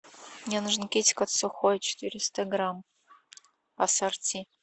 мне нужен китикет сухой четыреста грамм ассорти